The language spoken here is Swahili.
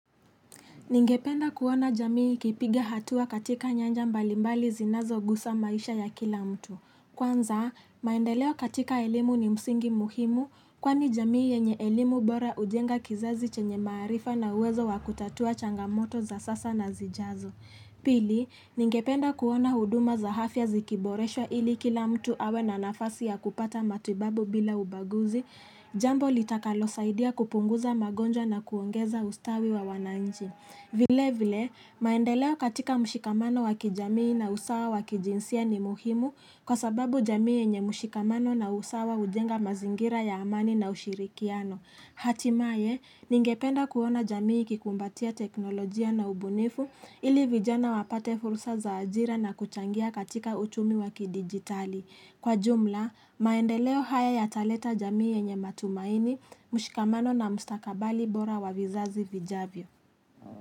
Ningependa kuona jamii ikipiga hatua katika nyanja mbalimbali zinazogusa maisha ya kila mtu. Kwanza, maendeleo katika elimu ni msingi muhimu, kwani jamii yenye elimu bora hujenga kizazi chenye maarifa na uwezo wakutatua changamoto za sasa na zijazo. Pili, ningependa kuona huduma za afya zikiboreshwa ili kila mtu awe na nafasi ya kupata matibabu bila ubaguzi, jambo litakalosaidia kupunguza magonjwa na kuongeza ustawi wa wananchi. Vile vile, maendeleo katika mshikamano wa kijamii na usawa wa kijinsia ni muhimu kwa sababu jamii yenye mshikamano na usawa hujenga mazingira ya amani na ushirikiano. Hatimaye, ningependa kuona jamii ikikumbatia teknolojia na ubunifu ili vijana wapate fursa za ajira na kuchangia katika uchumi wa kidigitali. Kwa jumla, maendeleo haya yataleta jamii yenye matumaini, mshikamano na mstakabali bora wa vizazi vijavyo.